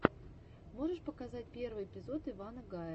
можешь показать первый эпизод ивана гая